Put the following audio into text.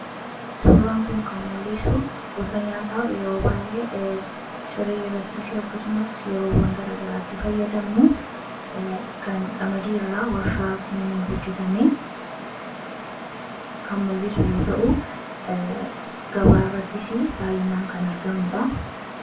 suuraan kun kan mul'isu gosa nyaataa yeroo baay'ee ciree irrattii fi akkasumas yeroowwan garaagaraatti fayyadamnu kan qamadii irraa warshaa seenee hojjetamee kan mul'isu yoo ta'u, gabaa irrattis baay'inaan kan argamudha.